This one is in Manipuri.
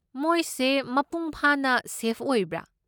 ꯃꯣꯏꯁꯦ ꯃꯄꯨꯡ ꯐꯥꯅ ꯁꯦꯐ ꯑꯣꯏꯕ꯭ꯔꯥ?